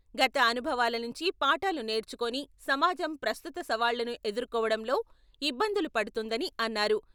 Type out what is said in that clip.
గత అనుభవాల నుంచి పాఠాలు నేర్చుకోని సమాజం ప్రస్తుత సవాళ్ళను ఎదుర్కోవడంలో ఇబ్బందులు పడుతుందని అన్నారు.